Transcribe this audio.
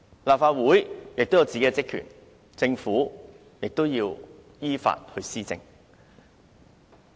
立法會有自己的職權，政府要依法施政。